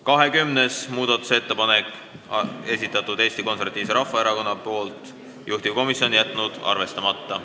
20. muudatusettepaneku on esitanud Eesti Konservatiivse Rahvaerakonna fraktsioon, juhtivkomisjon on jätnud arvestamata.